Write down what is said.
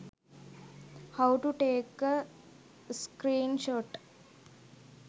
how to take a screenshot